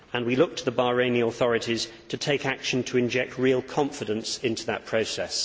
We look to the Bahraini authorities to take action to inject real confidence into that process.